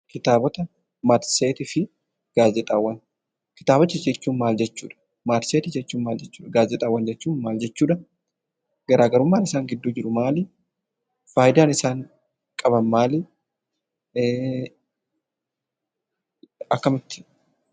Kitaabota jechuun maal jechuudha? Matseetii jechuun maal jechuudha? Gaazexaawwan jechuun maal jechuudha? Garaagarummaan isaan gidduu jiru maali? Faayidaan isaan qaban maali? Akkamitti?